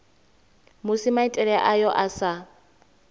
musi maitele ayo a sa